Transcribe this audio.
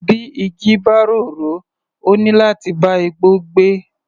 Bí igi bá rorò, ó níláti bá igbó gbé.